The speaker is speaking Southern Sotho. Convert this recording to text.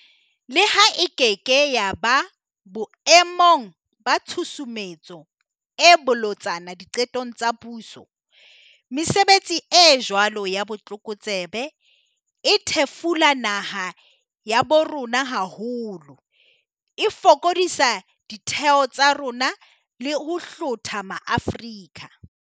Leha e keke ya ba boe mong ba tshusumetso e bolotsana diqetong tsa puso, mesebetsi e jwalo ya botlokotsebe e thefula naha ya bo rona haholo, e fokodisa ditheo tsa rona le ho hlotha maAfrika.